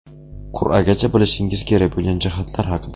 Qur’agacha bilishingiz kerak bo‘lgan jihatlar haqida.